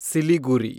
Siliguri